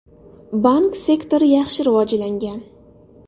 Bank sektori yaxshi rivojlangan.